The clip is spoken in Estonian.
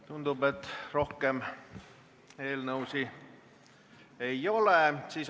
Tundub, et rohkem eelnõusid ei ole.